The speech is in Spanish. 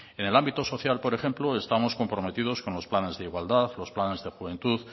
en el ámbito social por ejemplo estamos comprometidos con los planes de igualdad los planes de juventud